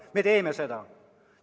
Me teeme seda.